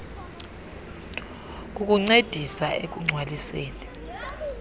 kukuncedisa ekugc waliseni